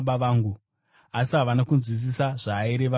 Asi havana kunzwisisa zvaaireva kwavari.